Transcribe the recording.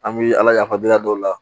An bɛ ala yafadenya dɔw la